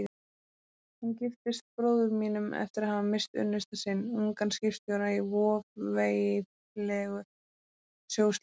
Hún giftist bróður mínum eftir að hafa misst unnusta sinn, ungan skipstjóra, í voveiflegu sjóslysi.